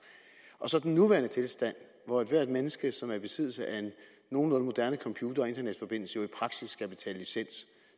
og så den nuværende tilstand hvor ethvert menneske som er i besiddelse af en nogenlunde moderne computer og internetforbindelse i praksis skal betale licens